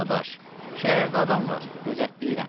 Dadaş, şəhərdə adam var, gözləyirəm.